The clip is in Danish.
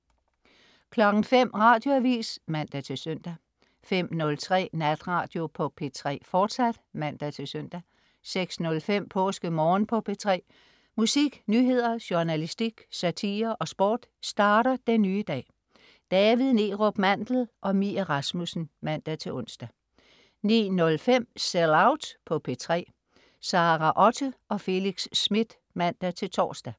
05.00 Radioavis (man-søn) 05.03 Natradio på P3, fortsat (man-søn) 06.05 PåskeMorgen på P3. musik, nyheder, journalistik, satire og sport starter den nye dag. David Neerup Mandel og Mie Rasmussen (man-ons) 09.05 Sell Out på P3. Sara Otte og Felix Smith (man-tors)